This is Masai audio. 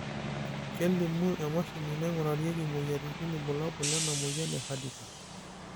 kelimu emashini naingurarieki imoyiaritin irbulabol lena moyian e Hardikar